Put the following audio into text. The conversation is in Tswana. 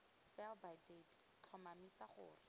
sell by date tlhomamisa gore